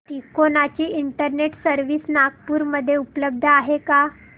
तिकोना ची internet service Nagpur मध्ये उपलब्ध आहे का